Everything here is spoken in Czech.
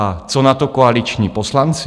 A co na to koaliční poslanci?